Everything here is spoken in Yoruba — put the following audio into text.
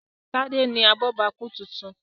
Tade ní abobaku títún.